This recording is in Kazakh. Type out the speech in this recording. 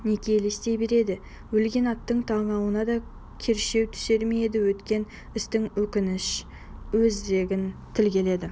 неге елестей береді өлген аттың танауына да кершеу түсер ме еді өткен істің өкініші өзегін тілгіледі